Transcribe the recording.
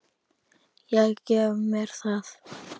Ég gef mér það.